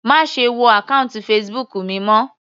Má ṣe wọ àkọ́ùntì Facebook mi mọ́.